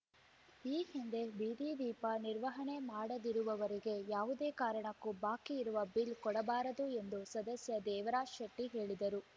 ಈ ಹಿಂದೆ ಬೀದಿ ದೀಪ ನಿರ್ವಹಣೆ ಮಾಡದಿರುವವರಿಗೆ ಯಾವುದೇ ಕಾರಣಕ್ಕೂ ಬಾಕಿ ಇರುವ ಬಿಲ್‌ ಕೊಡಬಾರದು ಎಂದು ಸದಸ್ಯ ದೇವರಾಜ್‌ ಶೆಟ್ಟಿಹೇಳಿದರು